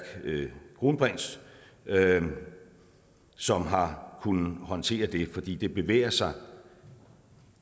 kronprins som har kunnet håndtere det fordi det bevæger sig